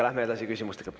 Lähme edasi küsimustega.